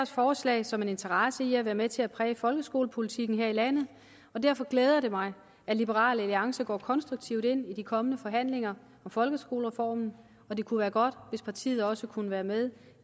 forslag som en interesse i at være med til at præge folkeskolepolitikken her i landet og derfor glæder det mig at liberal alliance går konstruktivt ind i de kommende forhandlinger om folkeskoleformen og det kunne være godt hvis partiet også kunne være med